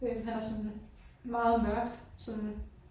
Øh han har sådan meget mørk sådan